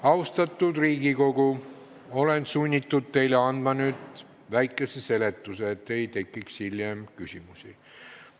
Austatud Riigikogu, olen sunnitud teile nüüd väikese seletuse andma, et hiljem küsimusi ei tekiks.